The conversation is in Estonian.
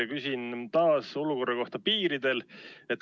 Ma küsin taas olukorra kohta piiril.